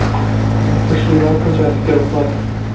вы б пошли да получается в первый класс